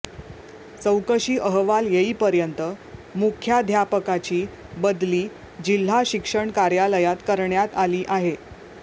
चौकशी अहवाल येईपर्यंत मुख्याध्यापकाची बदली जिल्हा शिक्षण कार्यालयात करण्यात आली आहे